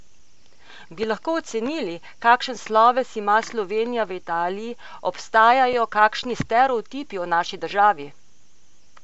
Bi lahko ocenili, kakšen sloves ima Slovenija v Italiji, obstajajo kakšni stereotipi o naši državi?